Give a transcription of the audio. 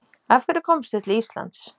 Af hverju komstu til Íslands?